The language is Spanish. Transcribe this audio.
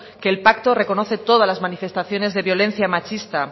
que el pacto reconoce todas las manifestaciones de violencia machista